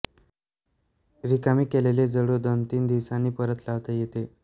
रिकामी केलेली जळू दोनतीन दिवसांनी परत लावता येते